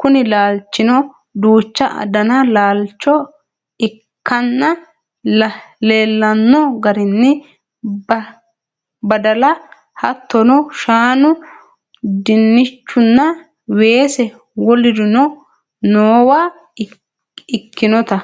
kuni laalchino duuchu dani laalcho ikkanna leellano garinni badala hattono shaanu dinnichunna weese wolurino noowa ikkinota